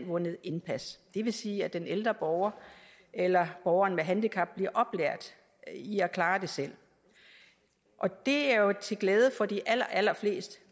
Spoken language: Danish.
vundet indpas det vil sige at den ældre borger eller borgeren med handicap bliver oplært i at klare det selv det er jo til glæde for de allerallerfleste